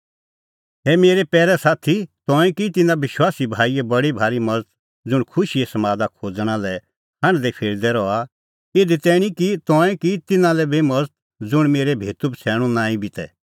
ए मेरै पैरै साथी तंऐं की तिन्नां विश्वासी भाईए बडी भारी मज़त ज़ुंण खुशीए समादा खोज़णा लै हांढदैफिरदै रहा इधी तैणीं कि तंऐं की तिन्नां लै बी मज़त ज़ुंण तेरै भेतूबछ़ैणूं नांईं बी तै